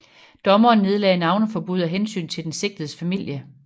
Dommeren nedlagde navneforbud af hensyn til den sigtedes familie